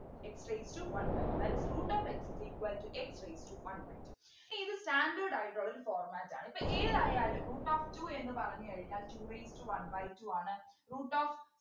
X raised to one by two that is root of x is equal to X raised to one by two ഇനി ഇത് standard ആയിട്ടുള്ള ഒരു format ആണ് ഇപ്പോ ഏതായാലും root of two എന്നു പറഞ്ഞു കഴിഞ്ഞാൽ two raised to one by two ആണ് root of